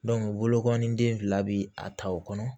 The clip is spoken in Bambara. bolokɔni den fila bɛ a ta o kɔnɔ